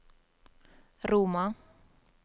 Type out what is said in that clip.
Roma